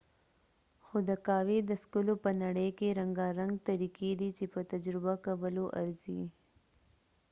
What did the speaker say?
خو د قهوي د څکلو په نړۍ کې رنګارنګ طریقی دي چې په تجربه کولو ارزی